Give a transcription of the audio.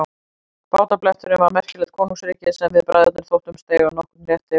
Bátabletturinn var merkilegt konungsríki sem við bræðurnir þóttumst eiga nokkurn rétt yfir.